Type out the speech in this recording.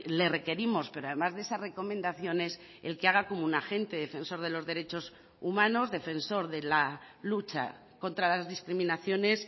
le requerimos pero además de esas recomendaciones el que haga como un agente defensor de los derechos humanos defensor de la lucha contra las discriminaciones